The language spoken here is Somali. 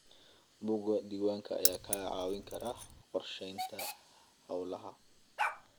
Buugga diiwaanka ayaa kaa caawin kara qorsheynta hawlaha.